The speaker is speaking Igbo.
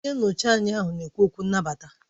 Onye nnọchiteanya ahụ na-ekwu okwu nnabata